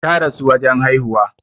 Ta rasu wurin haihuwa